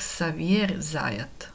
ksavijer zajat